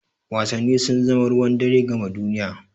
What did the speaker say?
Wasanni sun zama ruwan dare gama duniya.